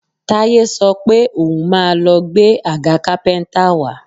Táyé sọ pé òun máa lọ gbé agà kápẹ́ńtà wá